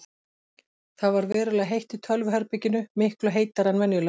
Það ver verulega heitt í tölvuherberginu, miklu heitara en venjulega.